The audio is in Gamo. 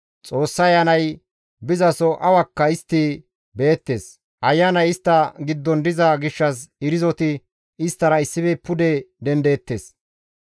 Xoossa Ayanay bizaso awakka istti beettes; ayanay istta giddon diza gishshas irzoti isttara issife pude dendeettes.